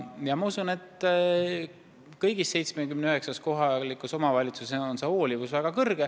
Ma siiski usun, et kõigis 79 kohalikus omavalitsuses on see hoolivus väga suur.